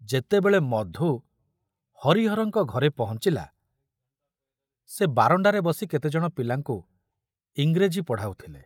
ଯେତେବେଳେ ମଧୁ ହରିହରଙ୍କ ଘରେ ପହଞ୍ଚିଲା, ସେ ବାରଣ୍ଡାରେ ବସି କେତେଜଣ ପିଲାଙ୍କୁ ଇଂରେଜୀ ପଢ଼ାଉଥିଲେ।